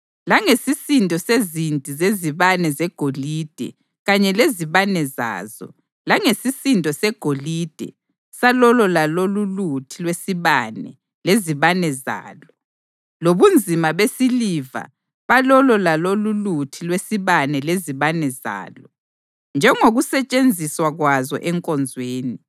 langesisindo sezinti zezibane zegolide kanye lezibane zazo, langesisindo segolide salolo lalololuthi lwesibane lezibane zalo, lobunzima besiliva balolo lalololuthi lwesibane lezibane zalo, njengokusetshenziswa kwazo enkonzweni;